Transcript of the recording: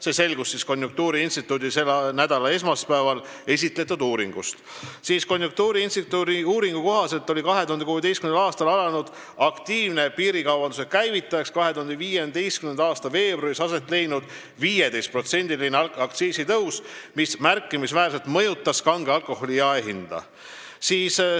See selgus konjunktuuriinstituudi selle nädala esmaspäeval esitletud uurimusest, mille kohaselt 2016. aastal alanud aktiivse piirikaubanduse käivitaja oli 2015. aasta veebruaris aset leidnud 15%-line aktsiisitõus, mis märkimisväärselt mõjutas kange alkoholi jaehinda.